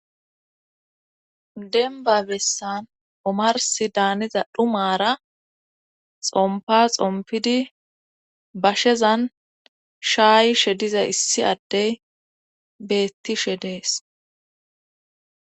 Denba bessan omarsi daaniza dhumara xompa xompidi bashezan shaayishe diza issi addey beettishe dees.